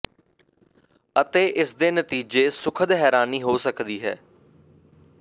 ਅਤੇ ਇਸ ਦੇ ਨਤੀਜੇ ਸੁਖਦ ਹੈਰਾਨੀ ਹੋ ਸਕਦੀ ਹੈ